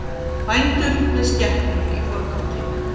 Bændur með skepnur í forgangi